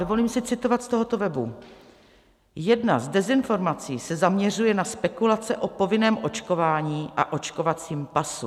Dovolím si citovat z tohoto webu: "Jedna z dezinformací se zaměřuje na spekulace o povinném očkování a očkovacím pasu.